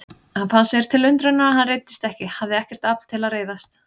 Hann fann sér til undrunar að hann reiddist ekki, hafði ekkert afl til að reiðast.